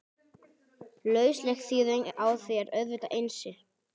Lausleg þýðing á því er auðvitað Einsi!